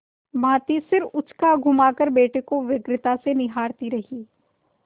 भाँति सिर उचकाघुमाकर बेटे को व्यग्रता से निहारती रही